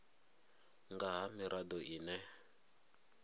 nga ha mirado i re